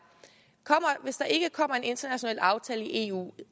hvis der ikke kommer en international aftale i eu